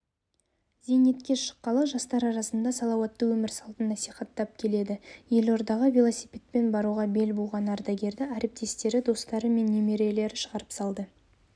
зейнетке шыққалы жастар арасында салауатты өмір салтын насихаттап келеді елордаға велосипедпен баруға бел буған ардагерді әріптестері достары мен немерелері шығарып салды